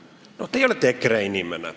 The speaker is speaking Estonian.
No teie olete EKRE inimene.